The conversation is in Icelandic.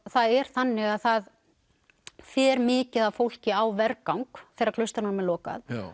það er þannig að það fer mikið af fólki á vergang þegar klaustrunum er lokað